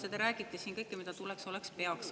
Ja te räägite siin kõike, mida tuleks ja peaks.